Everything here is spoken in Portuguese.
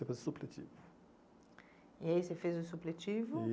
supletivo. E aí você fez o supletivo?